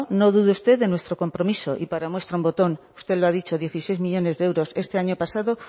no dude usted de nuestro compromiso y para muestra un botón usted lo ha dicho dieciséis millónes de euros este año pasado